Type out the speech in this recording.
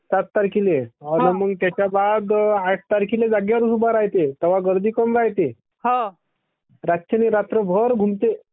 सात तारखिले अन मग त्याच्या बाद आठ तारखिले जागेवरच उभा रायते तेव्हा गर्दी कमी रायते. रातच्यानी रात्र भर घुमते.